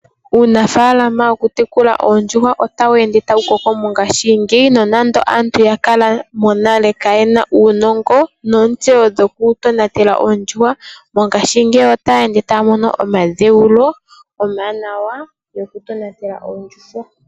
Uunafaalama wo ku tekula oondjuhwa ota wu ende ta wu koko mongaashi ngeyi nonando aantu monale oya kala kaayena uunongo nontseyo yokutonatela oondjuhwa, mongaashi ngeyi ota ya ende ta ya mono omadheulo omawanawa moku tonatela oondjuhwa.